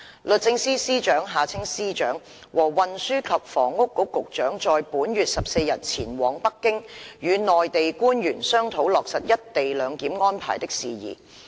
律政司司長和運輸及房屋局局長在本月14日前往北京，與內地官員商討落實一地兩檢安排的事宜。